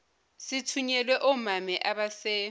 sithunyelwa omame abase